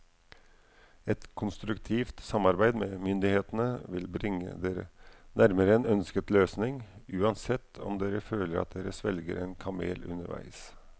Et konstruktivt samarbeid med myndighetene vil bringe dere nærmere en ønsket løsning, uansett om dere føler at dere svelger en kamel underveis.